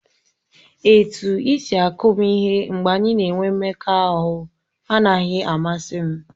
Etu isi akụ m ihe mgbe anyị na-enwe mmekọahụ anaghị amasị m.